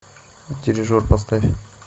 дирижер поставь